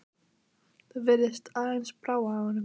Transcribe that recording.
Það virðist aðeins brá af honum.